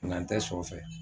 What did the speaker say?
Nga n tɛ sɔ fɛ.